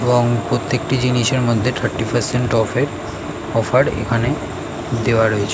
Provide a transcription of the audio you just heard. এবং প্রত্যেকটি জিনিসের মধ্যে থার্টি পার্সেন্ট অফ -এ অফার এখানে দেওয়া রয়েছে।